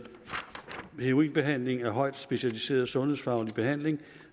heroinbehandling er en højt specialiseret sundhedsfaglig behandling